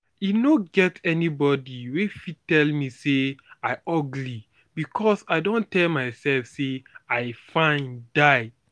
e no get anybody wey fit tell me say i ugly because i don tell myself say i fine die